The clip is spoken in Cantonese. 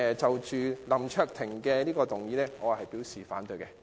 就林卓廷議員這項議案，我表示反對。